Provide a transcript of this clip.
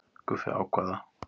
Guffi ákvað það.